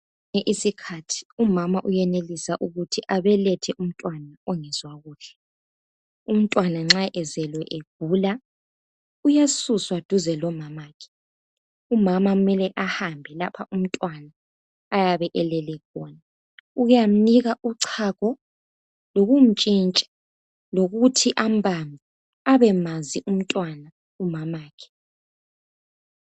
Kwesinye isikhathi umama uyenelisa ukuthi abelethe umntwana ongezwa kuhle , umntwana nxa ezelwe egula uyasuswa duze lomamakhe , umama kumele ahambe lapha umtwana ayabe elele khona ukuyamnika uchago lokumtshintsha lokuthi ambambe abemazi umntwana umamakhe